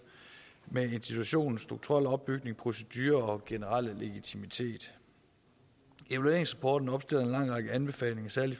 med institutionens strukturelle opbygning procedurer og generelle legitimitet evalueringsrapporten opstiller en lang række anbefalinger særlig